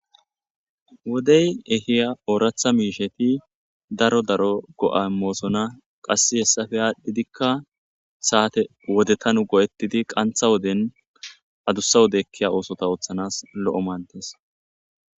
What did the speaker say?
Wodey ehiya ooratha mishati daro daro go''a imosona, ero dark daro go''a omoson aqase hesappeka adhidi sate adusa wode ekiya osotan oothanasi lo'o mades